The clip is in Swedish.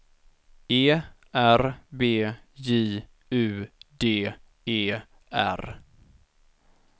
E R B J U D E R